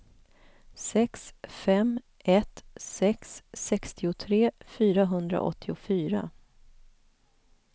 sex fem ett sex sextiotre fyrahundraåttiofyra